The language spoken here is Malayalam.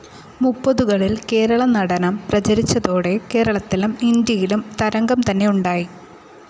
മുപ്പതുകളിൽ കേരളനടനം പ്രചരിച്ചതോടെ കേരളത്തിലും ഇന്ത്യയിലും തരംഗം തന്നെ ഉണ്ടായി.